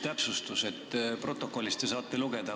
Te saate protokollist lugeda.